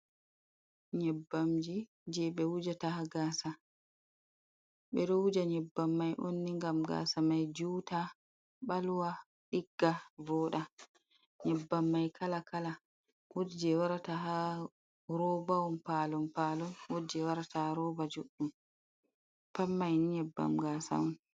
nyebbamji je ɓe do wujjata ha gasa, ɓe ɗo wujja nyebbam mai on ni ngam gasa mai juta ɓalwa, ɗigga, vooɗa, nyebbam mai kala kala wodi je warata ha robahon palon palon, wodi je warata ha roba juɗɗum pat mai ni nyebbam gasa on.